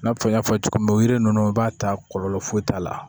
I n'a fɔ n y'a fɔ cogo min na yiri ninnu i b'a ta kɔlɔlɔ foyi t'a la